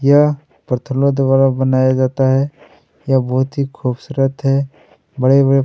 यहाँ पत्थरों द्वारा बनाया जाता है यह बहुत ही खुबसूरत है बड़े-बड़े--